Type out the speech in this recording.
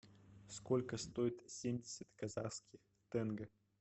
сколько стоит семьдесят казахских тенге